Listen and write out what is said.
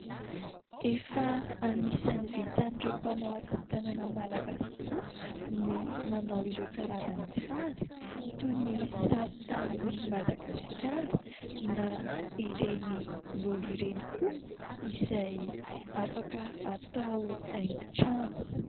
Efa anisany vitan'ireo mpanao asa tanana malagasy tokoa ny manao ireo karazana sary toy ny sary tanin'i Madagasikara na ireny lolo ireny koa izay afaka atao haingo trano.